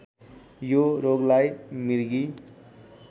यो रोगलाई मृगी